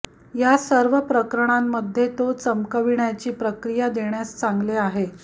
या सर्व प्रकरणांमध्ये तो चमकवण्याची प्रक्रिया देण्यास चांगले आहे